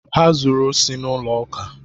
Ha zuru osi n'ụlọ ụka.